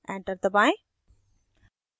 enter दबाएं